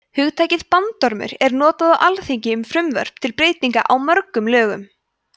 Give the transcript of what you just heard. hugtakið bandormur er notað á alþingi um frumvörp til breytinga á mörgum lögum